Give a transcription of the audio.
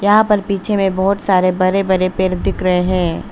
यहां पर पीछे में बहुत सारे बड़े बड़े पेड़ दिख रहे हैं।